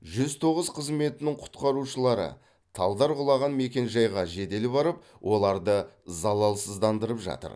жүз тоғыз қызметінің құтқарушылары талдар құлаған мекенжайға жедел барып оларды залалсыздандырып жатыр